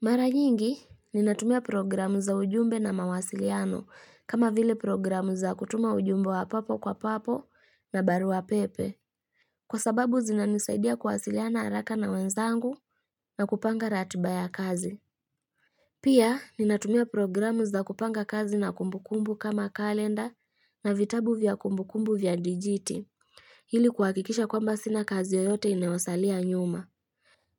Mara nyingi, ninatumia programu za ujumbe na mawasiliano kama vile programu za kutuma ujumbe wa papo kwa papo na baruwa pepe. Kwa sababu zinanisaidia kuwasiliana haraka na wenzangu na kupanga ratiba ya kazi. Pia, ninatumia programu za kupanga kazi na kumbukumbu kama kalenda na vitabu vya kumbukumbu vya digiti. Ili kuhakikisha kwamba sina kazi yoyote inayosalia nyuma.